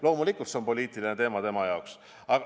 Loomulikult see on poliitiline teema tema jaoks.